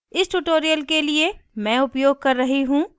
इस tutorial के लिए मैं उपयोग कर रही हूँ